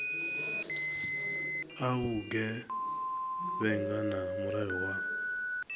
a vhugevhenga na mulayo wa